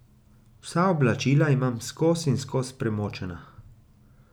Vsa oblačila imam skoz in skoz premočena.